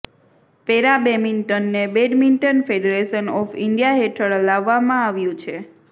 para બેમિન્ટનને badminton federation of India હેઠળ લાવવામાં આવ્યું છે